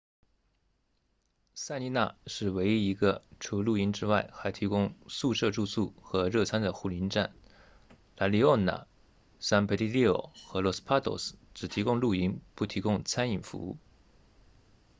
塞丽娜 sirena 是唯一一个除露营之外还提供宿舍住宿和热餐的护林站 la leona san pedrillo 和 los patos 只提供露营不提供餐饮服务